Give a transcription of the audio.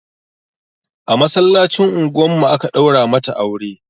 A masallacin unguwar mu aka ɗaura mata aure